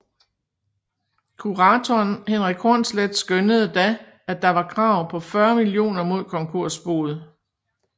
Kuratoren Henrik Hornsleth skønnede da at der var krav på 40 millioner mod konkursboet